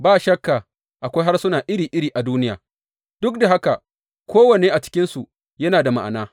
Ba shakka akwai harsuna iri iri a duniya, duk da haka kowane a cikinsu yana da ma’ana.